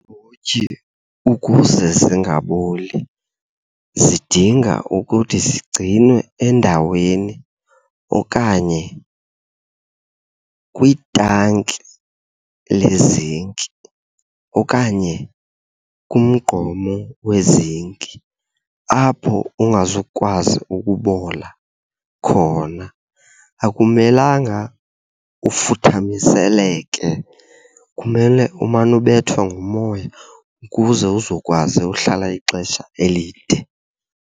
Iimbotyi ukuze zingaboli zidinga ukuthi zigcinwe endaweni okanye kwitanki lezinki okanye kumgqomo wezinki apho ungazukwazi ukubola khona. Akumelanga ufuthaniseleke kumele umane ubethwa ngumoya ukuze uzokwazi uhlala ixesha elide.